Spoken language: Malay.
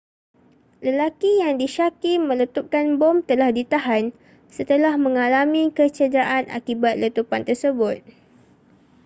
lelaki yang disyaki meletupkan bom telah ditahan setelah mengalami kecederaan akibat letupan tersebut